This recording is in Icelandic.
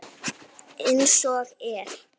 Amma Kata gaf af sér.